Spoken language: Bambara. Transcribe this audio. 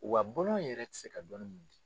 Wa buran yɛrɛ ti se ka dɔnni min di.